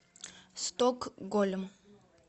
стокгольм